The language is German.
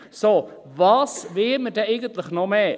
So, was will man denn eigentlich noch mehr?